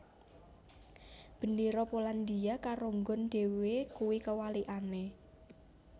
Bendera Polandia karo nggon dhewe kui kewalikane